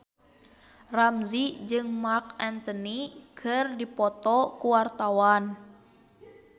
Ramzy jeung Marc Anthony keur dipoto ku wartawan